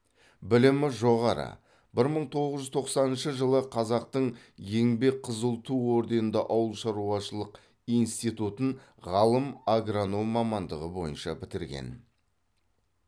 білімі жоғары бір мың тоғыз жүз тоқсаныншы жылы қазақтың еңбек қызыл ту орденді ауылшаруашылық институтын ғалым агроном мамандығы бойынша бітірген